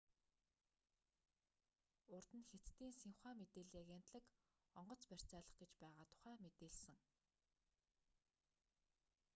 урд нь хятадын синьхуа мэдээллийн агентлаг онгоц барьцаалах гэж байгаа тухай мэдээлсэн